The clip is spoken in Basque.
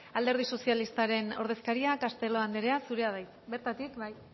alderdi sozialistaren ordezkaria castelo andrea zurea da hitza bertatik bai